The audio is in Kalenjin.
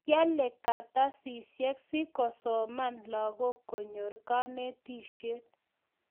kiale kartasiahek siko soman langok konyor kanetishet